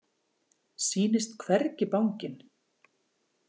Sýnist hvergi banginn.